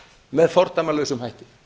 með fordæmalausum hætti